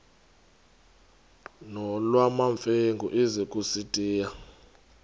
nolwamamfengu ize kusitiya